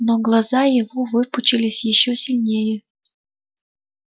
но глаза его выпучились ещё сильнее